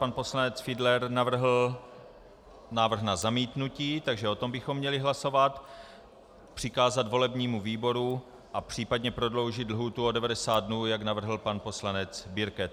Pan poslanec Fiedler navrhl návrh na zamítnutí, takže o tom bychom měli hlasovat, přikázat volebnímu výboru a případně prodloužit lhůtu o 90 dnů, jak navrhl pan poslanec Birke.